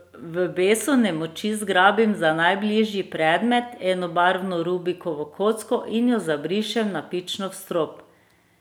V besu nemoči zgrabim za najbližji predmet, enobarvno rubikovo kocko, in jo zabrišem navpično v strop.